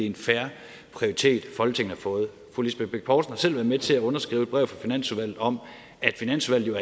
en fair prioritet folketinget har fået fru lisbeth bech poulsen har selv været med til at underskrive et brev fra finansudvalget om at finansudvalget